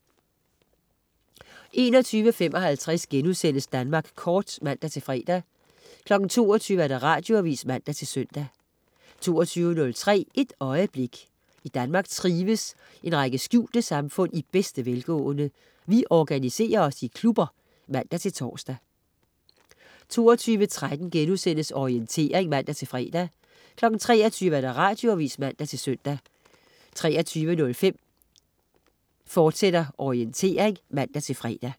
21.55 Danmark Kort* (man-fre) 22.00 Radioavis (man-søn) 22.03 Et øjeblik. I Danmark trives en række skjulte samfund i bedste velgående. Vi organiserer os i klubber (man-tors) 22.13 Orientering* (man-fre) 23.00 Radioavis (man-søn) 23.05 Orientering, fortsat* (man-fre)